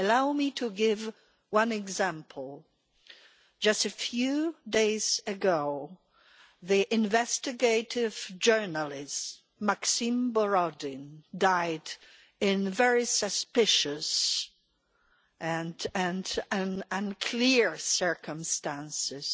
Allow me to give one example just a few days ago, the investigative journalist Maxim Borodin died in very suspicious and unclear circumstances.